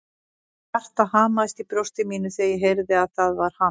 Hjartað hamaðist í brjósti mínu þegar ég heyrði að það var hann.